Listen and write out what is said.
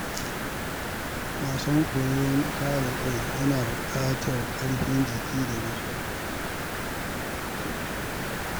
Wasan koyon kare kai yana buƙatar ƙarfin jiki da natsuwa.